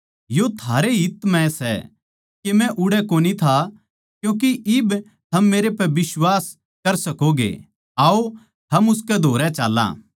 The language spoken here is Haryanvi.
यो थारे ए हित म्ह सै के मै उड़ै कोनी था क्यूँके इब थम मेरे पै बिश्वास कर सकोगे आओ हम उसकै धोरै चाल्लां